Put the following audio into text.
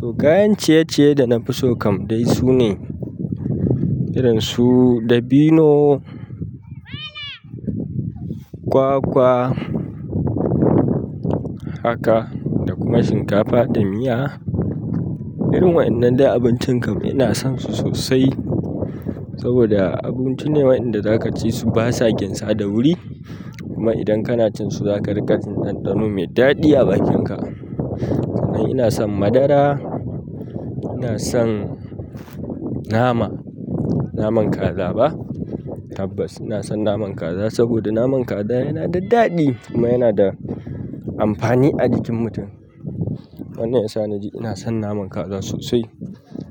To kayan ciye-ciye da na fi so kam dai su ne, irin su dabino, kwakwa, haka da kuma shinkafa da miya. Irin waɗannan dai abincin kam ina son su sosai saboda abinci ne waɗanda za ka ci su ba sa ginsa da wuri. Kuma idan kana cin su za ka riƙa jin ɗanɗano mai daɗi a bakinka. Ni ina son madara, ina son nama, naman kaza ba, tabbas ina son naman kaza saboda naman kaza yana da daɗi kuma yana da amfani a jikin mutum. Wannan ya sa na ji ina son naman kaza sosai.